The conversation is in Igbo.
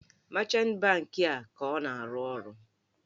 Mechantị bankị a ọ ka na-arụ ọrụ?